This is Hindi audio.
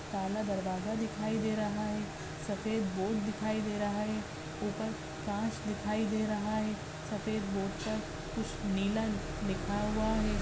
काला दरवाजा दिखाई दे रहा हैं सफ़ेद बोर्ड दिखाई दे रहा हैं ऊपर कांच दिखाई दे रहा हैं सफ़ेद बोर्ड पर कुछ नीला दिखा हुवा हैं।